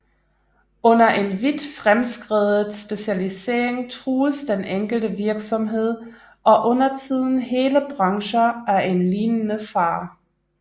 Under en vidt fremskredet specialisering trues den enkelte virksomhed og undertiden hele brancher af en lignende fare